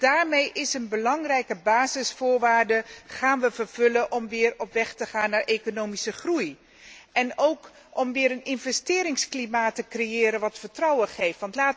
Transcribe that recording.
Daarmee gaan wij een belangrijke basisvoorwaarde vervullen om weer op weg te gaan naar economische groei, en ook om weer een investeringsklimaat te creëren dat vertrouwen geeft.